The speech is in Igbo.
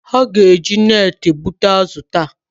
Ha ga-eje neti gbụta azụ taa